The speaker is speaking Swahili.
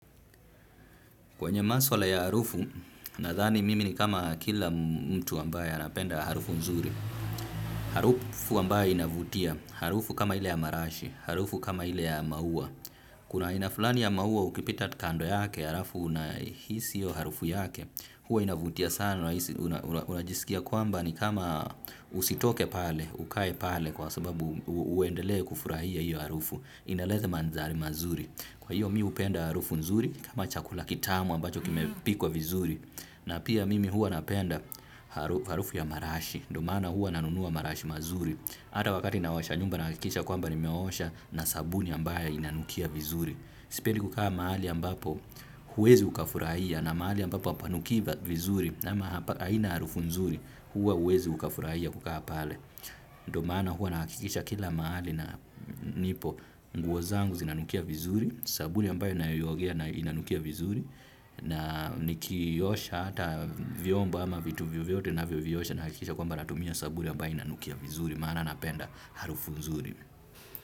Kwenye maswala ya harufu, nadhani mimi ni kama kila mtu ambaye anapenda harufu nzuri. Harufu ambayo inavutia, harufu kama ile ya marashi, harufu kama ile ya maua. Kuna aina fulani ya maua ukipita tu kando yake halafu unahisi hiyo harufu yake huwa inavutia sana unajiskia kwamba ni kama usitoke pale, ukae pale kwa sababu uendelee kufurahia hiyo harufu. Inaleta maandhari mazuri kwa hivyo mimi hupenda. Sipendi kukaa mahali ambapo huwezi ukafurahia na mahali ambapo hapanukii vizuri. Nama haina harufu nzuri hua huwezi ukafuraia kukaa pale ndiyo maana huwa nahakikisha kila mahali nipo nguo zangu zinanukia vizuri sabuni ambayo ninayoiogea inanukia vizuri na nikiosha hata vyombo ama vitu vyovyote ninavyoviosha nahakikisha kwamba natumia sabuni ambayo inanukia vizuri maana napenda harufu nzuri.